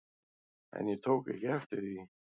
En ég tók ekki eftir því.